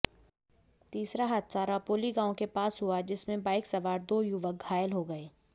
तीसरा हादसा रापौली गांव के पास हुआ जिसमें बाइक सवार दो युवक घायल हो गए